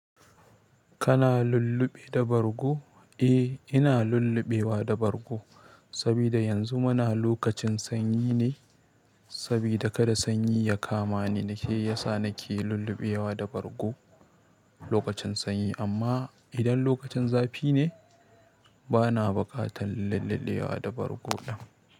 Kana lulluɓe da bargo? Eh, ina lulluɓewa da bargo saboda yanzu muna lokacin sanyi ne. Saboda kada sanyi ya kama ni ne ya sa nake lulluɓewa da bargo lokacin sanyi. Amma idan lokacin zafi ne, bana buƙatar lulluɓewa da bargo.